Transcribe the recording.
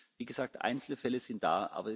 Wie gesagt, einzelne Fälle sind da.